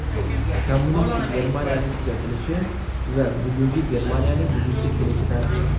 Kommunistik Germaniyaning tugatilishi va bugungi Germaniyaning vujudga kelishi tarixi.